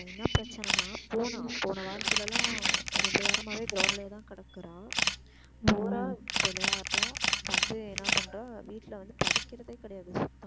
இப்போ என்ன பிரச்சனைன போனா போன வாரத்துலலாம் ரெண்டு வாரமாவே ground லையே கிடக்குறா போறா விளையாடுறா வந்து என்ன பண்றா வீட்ல வந்து படிக்கிறதே கிடையாது.